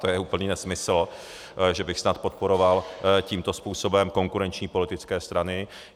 To je úplný nesmysl, že bych snad podporoval tímto způsobem konkurenční politické strany.